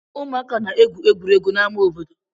Ụmụaka na-egwu egwuregwu n'amá obodo.